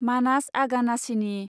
मानास आगानासिनि